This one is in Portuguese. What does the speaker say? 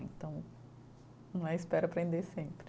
Então, não é, espero aprender sempre.